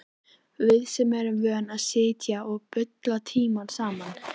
Við sem erum vön að sitja og bulla tímunum saman.